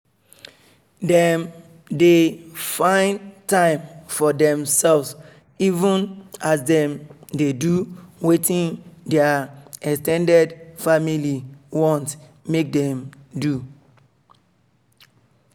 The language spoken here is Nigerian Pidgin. dem dey find time for themselves even as them dey do wetin their ex ten ded family want make them do